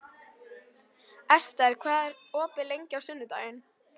Ester, hvað er opið lengi á sunnudaginn?